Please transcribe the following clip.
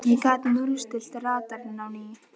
ég gat núllstillt radarinn á ný.